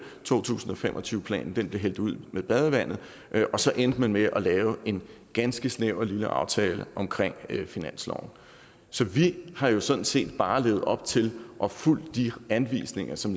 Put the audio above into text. to tusind og fem og tyve planen blev hældt ud med badevandet og så endte man med at lave en ganske snæver lille aftale om finansloven så vi har sådan set bare levet op til og fulgt de anvisninger som